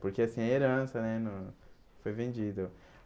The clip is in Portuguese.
Porque assim, a herança né não foi vendido.